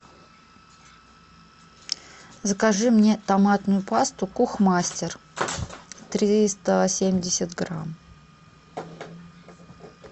закажи мне томатную пасту кухмастер триста семьдесят грамм